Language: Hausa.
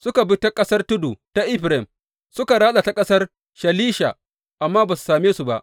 Suka bi ta ƙasar tudu ta Efraim, suka ratsa ta ƙasar Shalisha amma ba su same su ba.